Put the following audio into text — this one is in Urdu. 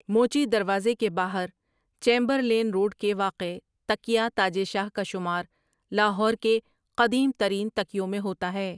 موچی دروازے کے باہر چیمبرلین روڈ کے واقع تکیہ تاجے شاہ کا شمار لاہور کے قدیم ترین تکیوں میں ہوتا ہے ۔